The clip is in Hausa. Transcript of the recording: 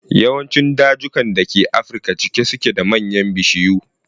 Yawancin dajukan da ke afirka cike suke da manyan bishiyu.